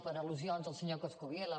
per al·lusions del senyor coscubiela